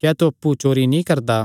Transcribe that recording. क्या तू अप्पु चोरी नीं करदा